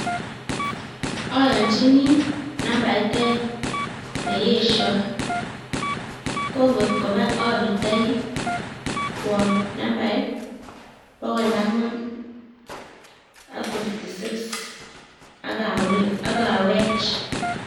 Ayonchini nambait aeng' ne iyeshoi. Ko ngot koba apirtoi kwo nambait bogol angwan ak fifty six, agawe-agawech